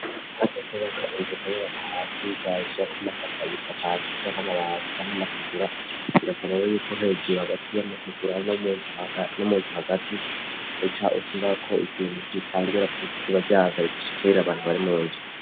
asi kubaka inzuka y'abaparasi gaja ko amafaka gisakas ashaka nabahakica nk'amategura irekanewe yuko hegeru hagati y'amategura n'umunzu khagati uca ushira ko ikintu nkitangira kubik ikuba ryazar dashekere abantu bari mu nzi